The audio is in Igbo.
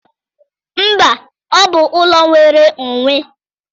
Mba, ọ bụ ụlọ nwere onwe.